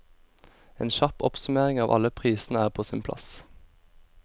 En kjapp oppsummering av alle prisene er på sin plass.